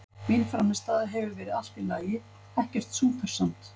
Mín frammistaða hefur verið allt í lagi, ekkert súper samt.